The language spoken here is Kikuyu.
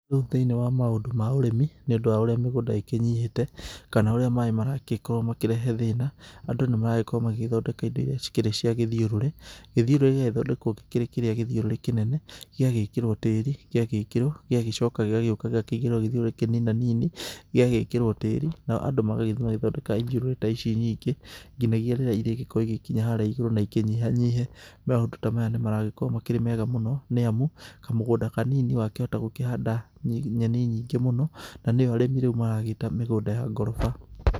Rĩu thĩini wa ũrĩmi nĩ ũndũ wa ũrĩa mĩgũnda ĩkĩnyihĩte kana ũrĩa maaĩ maragĩkorwo makĩrehe thĩna. Andũ nĩ maragĩkorwo magĩthondeka indo iria cikĩrĩ cia gĩthiũrũrĩ, gĩthiũrũrĩ gĩgagĩthondekwo gĩkĩrĩ kĩrĩa gĩthiũrũrĩ kĩnene gĩgagĩkĩrwo tĩri. Gĩagĩkĩrwo gĩgacoka gĩgĩũka gĩkaigĩrĩrwo gĩthiũrũrĩ kĩninanini gĩgagĩkĩrwo tĩri nao andũ magagithiĩ magathondeka ithiũrũrĩ ta ici nyingĩ nginyagia rĩrĩa irĩgĩkorwo igĩkinya harĩa igũrũ na ikĩnyiha nyihe. Maũndũ ta maya nĩ maragĩkorwo makĩrĩ mega mũno nĩ amu kamũgũnda kanini wa kĩhota gũkĩhanda nyeni nyingĩ mũno, na nĩyo arĩmi maragĩta mĩgũnda ya ngoroba.